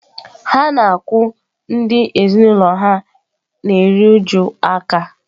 Ha na-akwụ ndị ezinụlọ ha na-eru uju aka